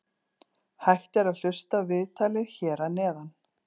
Hægt er að hlusta á viðtalið hér að neðan.